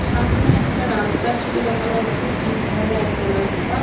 সামনে একটা রাস্তার ছবি দেখা যাচ্ছে পিচ ঢালা একটা রাস্তা।